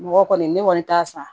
Mɔgɔ kɔni ne kɔni t'a san